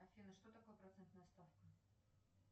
афина что такое процентная ставка